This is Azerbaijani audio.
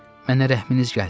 Mənə rəhminiz gəlsin.